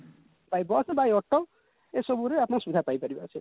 by bus by auto ଏସବୁରେ ଆପଣ ସୁବିଧା ପାଇପାରିବେ